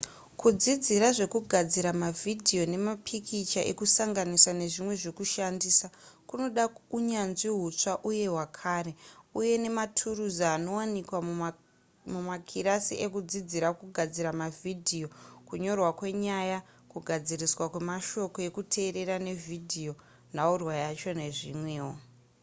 kudzidzira zvekugadzira mavhidhiyo nemapikicha ekusanganisa nezvimwe zvekushandisa kunoda unyanzvi hutsva uye hwakare uye nematurusi anowanikwa mumakirasi ekudzidzira kugadzira mavhidhiyo kunyorwa kwenyaya kugadziriswa kwemashoko ekuteerera nevhidhiyo nhaurwa yacho nezvimwewo